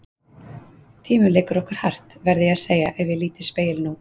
Tíminn leikur okkur hart, verð ég að segja ef ég lít í spegil nú.